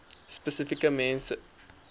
spesifieke groep mense